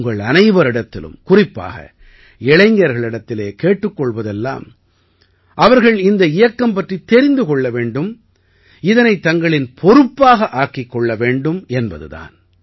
உங்கள் அனைவரிடத்திலும் குறிப்பாக இளைஞர்களிடத்தில் கேட்டுக் கொள்வதெல்லாம் அவர்கள் இந்த இயக்கம் பற்றித் தெரிந்து கொள்ள வேண்டும் இதனைத் தங்களின் பொறுப்பாக ஆக்கிக்கொள்ள வேண்டும் என்பது தான்